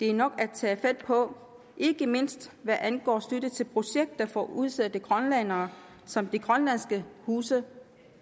er nok at tage fat på ikke mindst hvad angår støtte til projekter for udsatte grønlændere som de grønlandske huse